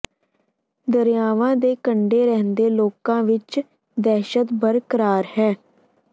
ਦਰਿਆਵਾਂ ਦੇ ਕੰਢੇ ਰਹਿੰਦੇ ਲੋਕਾਂ ਵਿੱਚ ਦਹਿਸ਼ਤ ਬਰਕਰਾਰ ਹੈ